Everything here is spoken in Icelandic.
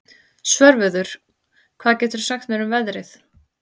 Svörfuður, hvað geturðu sagt mér um veðrið?